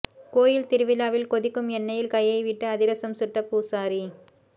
கோயில் திருவிழாவில் கொதிக்கும் எண்ணெயில் கையை விட்டு அதிரசம் சுட்ட பூசாரி